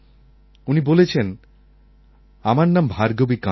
উনি বলেছেন আমার নাম ভার্গবী কান্ড়ে